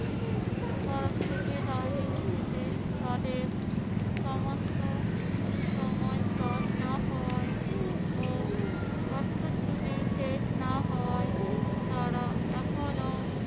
তরফ থেকে দাবি উঠেছে তাদের সমস্ত সময় class না হওয়ায় ও পাঠ্যসূচি শেষ না হওয়ায় তারা এখনো